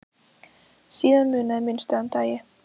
Síðan munaði minnstu að hann dæi.